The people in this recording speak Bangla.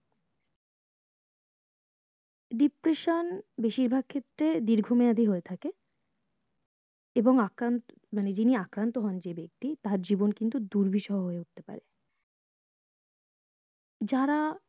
depression বেশিরভাগ ক্ষেত্রে দীর্ঘ মেয়াদি হয়ে থাকে এবং আক্রান্ত মানে যিনি আক্রান্ত হন যে বেক্তি তার জীবন কিন্তু দুর্বিসহ হয়ে উঠতে পারে যারা